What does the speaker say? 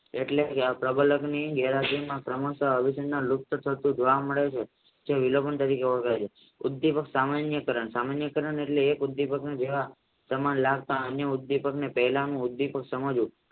એટલે પ્રબાલકની ઉદ્વિપક સામેની કારણ એટલે એક ઉદ્વિપકનું સમાન લગતા અન્યની ઉદ્વિપકની સમજવું